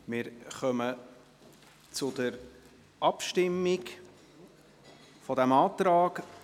Wir kommen zur Abstimmung über diesen Antrag.